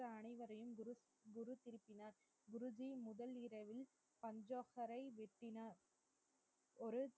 மற்ற அனைவரையும் குரு குரு திருப்பினார் குருஜி முதல் இரவில்